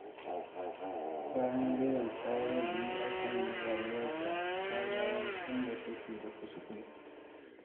Bayan Zainab ta yi nazari a kan rayuwarta, ta gano inda take da kuskure.